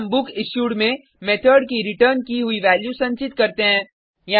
फिर हम बुकिश्यूड में मेथड की रिटर्न की हुई वैल्यू संचित करते हैं